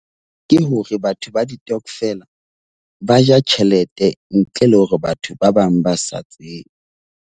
Ke hore batho ba ditokvela ba ja tjhelete ntle le hore batho ba bang ba sa tsebe.